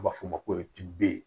U b'a fɔ o ma ko tpibe